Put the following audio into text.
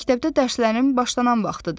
Məktəbdə dərslərin başlanan vaxtıdır.